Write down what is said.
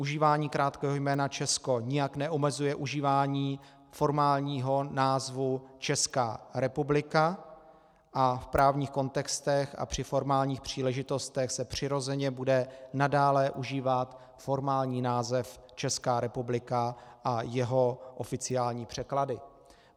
Užívání krátkého jména Česko nijak neomezuje užívání formálního názvu Česká republika a v právních kontextech a při formálních příležitostech se přirozeně bude nadále užívat formální název Česká republika a jeho oficiální překlady.